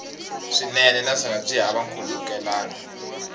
swinene naswona byi hava nkhulukelano